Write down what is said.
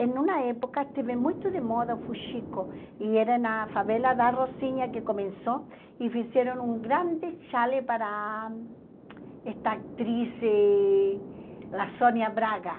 Em uma época esteve muito de moda o fuxico, e era na favela da Rocinha que começou, e fizeram um grande chale para esta atriz, eh a Sônia Braga.